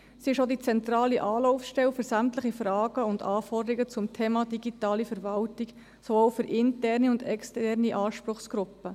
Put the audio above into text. Sie ist auch die zentrale Anlaufstelle für sämtliche Fragen und Anforderungen zum Thema digitale Verwaltung, sowohl für interne als auch für externe Anspruchsgruppen.